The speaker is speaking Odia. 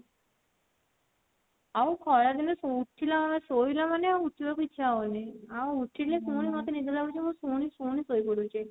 ଆଉ ଖରା ଦିନେ ଉଠିଲା ମାନେ ଶୋଇଲା ମାନେ ଆଉ ଉଠିବାକୁ ଇଛା ହବନି ଆଉ ଉଠିଲେ ପୁଣି ମୋତେ ନିଦ ଲାଗୁଥିବ ମୁଁ ପୁଣି ପୁଣି ଶୋଇପଡିବି ଯାଇକି